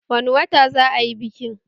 Wani wata za a yi bikin auren